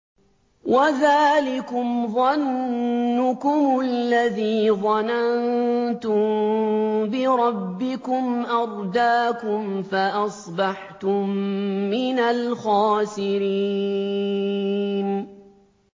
وَذَٰلِكُمْ ظَنُّكُمُ الَّذِي ظَنَنتُم بِرَبِّكُمْ أَرْدَاكُمْ فَأَصْبَحْتُم مِّنَ الْخَاسِرِينَ